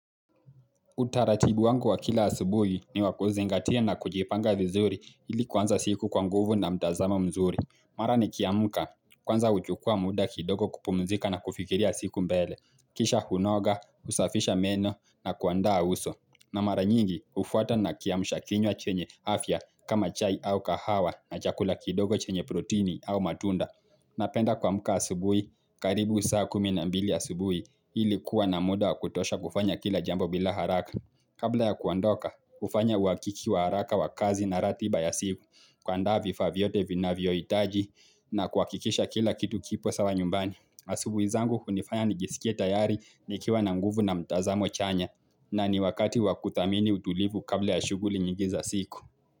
Utaratibu wangu wa kila asubuhi ni wakuzingatia na kujipanga vizuri ili kwanza siku kwa nguvu na mtazama mzuri. Mara ni kiamuka kwanza huchukua muda kidogo kupumzika na kufikiria siku mbele. Kisha hunoga, husafisha meno na kuandaa uso. Na mara nyingi hufuata na kiamusha kinywa chenye afya kama chai au kahawa na chakula kidogo chenye protini au matunda. Napenda kuamuka asubuhi, karibu saa kumi na mbili asubuhi ilikuwa na muda kutosha kufanya kila jambo bila haraka. Kabla ya kuondoka, hufanya uwakiki wa haraka wa kazi na ratiba ya siku. Kuandaa vifa vyote vinavyohitaji. Na kuhakikisha kila kitu kipo sawa nyumbani. Asubuhi zangu hunifanya nijisikie tayari nikiwa na nguvu na mtazamo chanya na ni wakati wakuthamini utulivu kabla ya shuguli nyingi za siku.